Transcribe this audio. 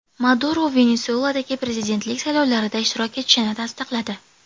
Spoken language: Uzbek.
Maduro Venesueladagi prezidentlik saylovlarida ishtirok etishini tasdiqladi.